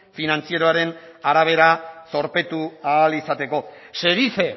finantzieroaren arabera zorpetu ahal izateko se dice